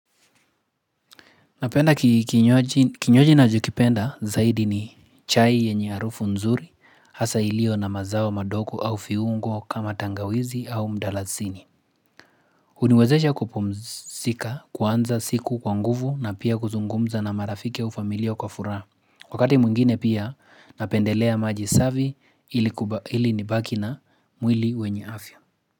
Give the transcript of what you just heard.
Napenda kinywaji najokipenda zaidi ni chai yenye harufu nzuri, hasa ilio na mazao madoko au fiungo kama tangawizi au mdalasini. Uniwezesha kupumzika, kuanza siku kwa nguvu na pia kuzungumza na marafiki au familioa kwa furaa. Wakati mungine pia napendelea maji savi ili nibaki na mwili wenye afya.